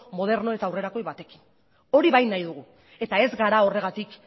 moderno eta aurrerakoi batekin hori bai nahi dugu eta ez gara horregatik